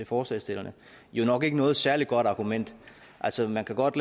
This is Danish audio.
forslagsstillerne jo nok ikke noget særlig godt argument altså man kan godt